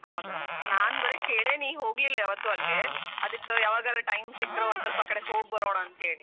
ಹೌದೇನ ನಾನ್ ಬರೇ ಕೇಳೇನಿ ಹೋಗ್ಲಿಲ್ಲ ಯಾವತ್ತು ಅಲ್ಲೇ ಅದ್ಕ ಯಾವಾಗಾರ time ಸಿಕ್ಕರ ಒಂದ್ ಸ್ವಲ್ಪ ಆಕಡೆ ಹೋಗಬರೋಣ ಅಂತೇಳಿ.